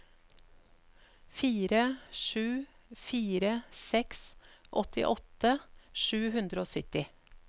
fire sju fire seks åttiåtte sju hundre og sytti